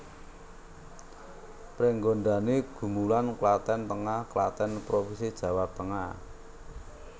Pringgondani Gumulan Klaten Tengah Klaten provinsi Jawa Tengah